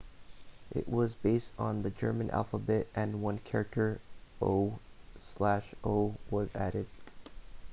it was based on the german alphabet and one character õ/õ was added